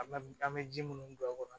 An bɛ an bɛ ji munnu don a kɔrɔ